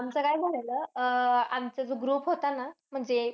आमचं काय झालेलं, अह आमचा जो group होता ना, म्हणजे